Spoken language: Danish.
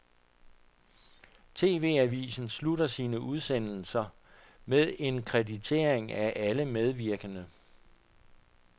TVAvisen slutter sine udsendelser med en kreditering af alle medvirkende.